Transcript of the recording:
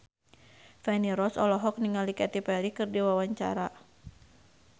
Feni Rose olohok ningali Katy Perry keur diwawancara